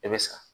I bɛ sa